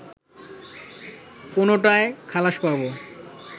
কোনোটায় খালাস পাবো